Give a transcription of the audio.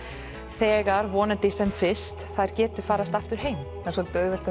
þegar þær vonandi sem fyrst geta farið aftur heim það er svolítið auðvelt að